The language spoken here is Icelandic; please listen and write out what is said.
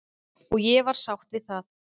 Og ég var sátt við það.